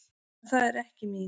En það er ekki mín.